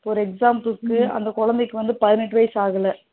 For example க்கு அந்த குழந்தைக்கு வந்து இன்னும் பதினெட்டுவயசு ஆகல